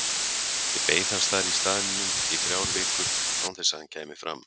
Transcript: Ég beið hans þar í staðnum í þrjár vikur án þess að hann kæmi fram.